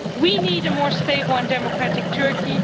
We need a more stable and democratic Turkey.